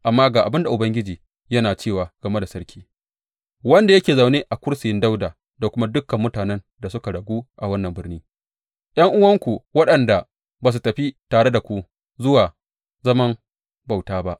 Amma ga abin da Ubangiji yana cewa game da sarki, wanda yake zaune a kursiyin Dawuda da kuma dukan mutanen da suka ragu a wannan birni, ’yan’uwanku waɗanda ba su tafi tare da ku zuwa zaman bauta ba.